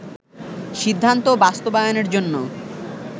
সিদ্ধান্ত বাস্তবায়নের জন্য